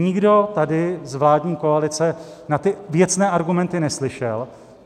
Nikdo tady z vládní koalice na ty věcné argumenty neslyšel.